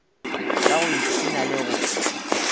ka go ipshina le go